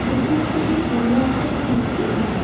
বুদ্ধ মূর্তিটির সামনে আছে একটি মাটির হাঁড়ি।